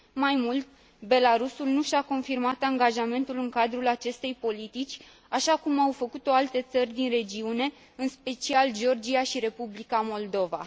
Mai mult, Belarusul nu și a confirmat angajamentul în cadrul acestei politici, așa cum au făcut o alte țări din regiune, în special Georgia și Republica Moldova.